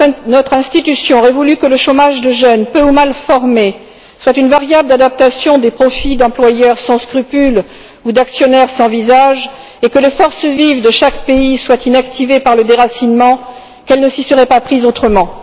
Notre institution aurait voulu que le chômage des jeunes, peu ou mal formés, soit une variable d'adaptation des profits d'employeurs sans scrupules ou d'actionnaires sans visage, et que les forces vives de chaque pays soient inactivées par le déracinement, qu'elle ne s'y serait pas prise autrement.